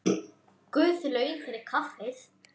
Guð laun fyrir kaffið.